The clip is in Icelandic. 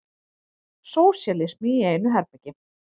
Sósíalismi í einu herbergi.